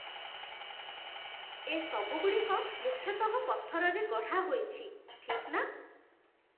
ଏ ସବୁଗୁଡ଼ିକ ମୁଖ୍ୟତଃ ପଥରରେ ଗଢ଼ାହୋଇଛି, ଠିକ୍ ନା?